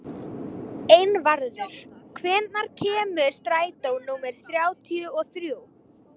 Einvarður, hvenær kemur strætó númer þrjátíu og þrjú?